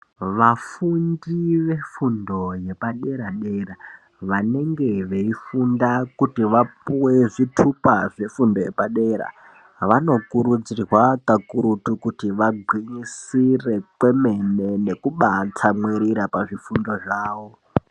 Vafundi ve fundo yepa dera vanenge veyi funda kuti vapuwe zvitupa zve fundo yepa dera vano kurudzirwa kakurutu kuti vagwinyisire kwemene nekubai tsamwirira pa zvifundo zvavo.